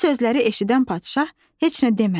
Bu sözləri eşidən padşah heç nə demədi.